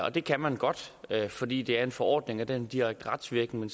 og det kan man godt fordi det her er en forordning og den har direkte retsvirkning